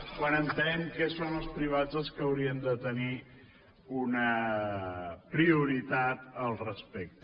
quan entenem que són els privats els que haurien de tenir una prioritat al respecte